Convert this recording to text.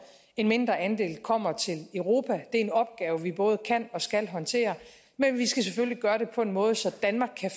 en mindre andel kommer til europa det er en opgave vi både kan og skal håndtere men vi skal selvfølgelig gøre det på en måde så danmark kan